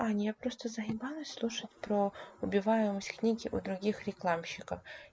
ань я просто заебалась слушать про убиваем из книги у других рекламщиков